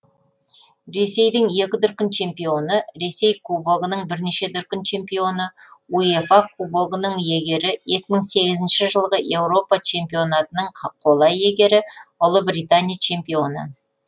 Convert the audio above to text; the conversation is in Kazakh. ресейдің екі дүркін чемпионы ресей кубогының бірнеше дүркін чемпионы уефа кубогының иегері екі мың сегізінші жылғы еуропа чемпионатының қола иегері ұлыбритания чемпионы